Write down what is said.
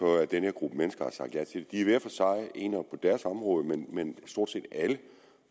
for at denne gruppe mennesker har sagt ja til det de er hver for sig enere på deres område men stort set